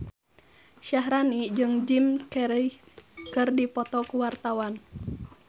Syaharani jeung Jim Carey keur dipoto ku wartawan